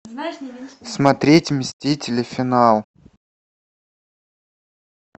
смотреть мстители финал